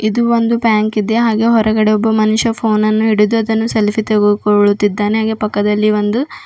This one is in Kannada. ಇದು ಒಂದು ಬ್ಯಾಂಕ್ ಇದೆ ಹಾಗೆ ಹೊರಗಡೆ ಒಬ್ಬ ಮನುಷ್ಯ ಫೋನ ನ್ನು ಹಿಡಿದು ಅದನ್ನು ಸೆಲ್ಫಿ ತೆಗೆದುಕೋಳುತ್ತಿದ್ದಾನೆ ಹಾಗೆ ಪಕ್ಕದಲ್ಲಿ ಒಂದು --